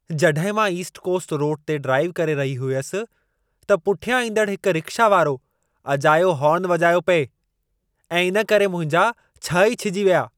जॾहिं मां East Coast Road ते ड्राइव करे रही हुयसि, त पुठियां ईंदड़ हिक रिक्शा वारो अजायो हॉर्न वॼायो पिए ऐं इन करे मुंहिंजा छह ई छिॼी विया।